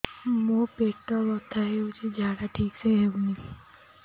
ମୋ ପେଟ ବଥା ହୋଉଛି ଝାଡା ଠିକ ସେ ହେଉନି